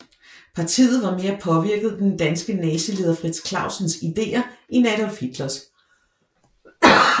Partiet var mere påvirket af den danske nazileder Frits Clausens ideer end Adolf Hitlers